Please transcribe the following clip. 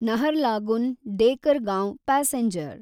Naharlagun Dekargaon passenger